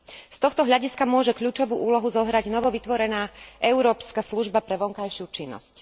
Z tohto hľadiska môže kľúčovú úlohu zohrať novovytvorená Európska služba pre vonkajšiu činnosť.